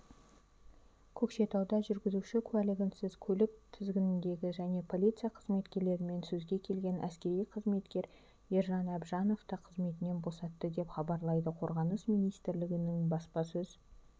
көкшетауда жүргізуші куәлігінсіз көлік тізгіндеген және полиция қызметкерлерімен сөзге келген әскери қызметкер ержан әбжановты қызметінен босатты деп хабарлайды қорғаныс министрлігінің баспасөз